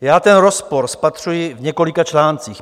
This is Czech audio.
Já ten rozpor spatřuji v několika článcích.